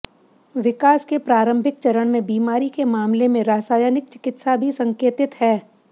विकास के प्रारंभिक चरण में बीमारी के मामले में रासायनिक चिकित्सा भी संकेतित है